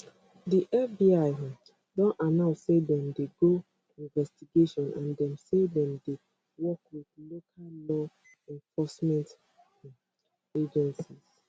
di fbi um don announce say dem dey do investigation and dem say dem dey work wit local law enforcement um agencies